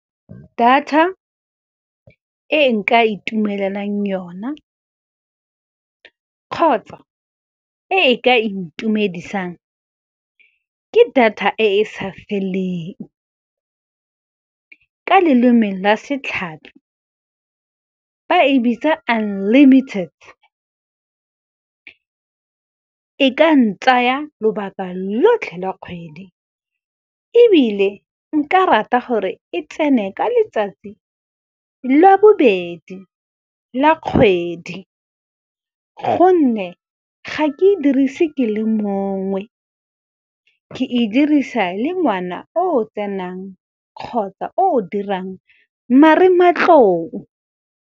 Data e nka itumelelang yona kgotsa e ka intumedisang ke data e e sa feleng. Ka leleme la setlhapi ba e bitsa unlimited, e ka ntsaya lobaka lotlhe la kgwedi, ebile nka rata gore e tsene ka letsatsi lwa bobedi la kgwedi. Gonne ga a ke e dirisi ke le mongwe, ke e dirisa le ngwana o tsenang kgotsa o dirang marematlou.